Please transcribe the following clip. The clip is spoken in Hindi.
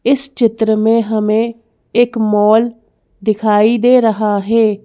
इस चित्र में हमें एक मॉल दिखाई दे रहा है।